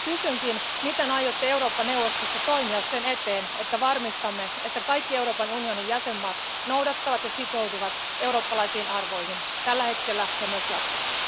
Kysynkin, miten aiotte Eurooppa neuvostossa toimia sen eteen, että varmistamme, että kaikki Euroopan unionin jäsenmaat noudattavat ja sitoutuvat eurooppalaisiin arvoihin, tällä hetkellä ja myös jatkossa?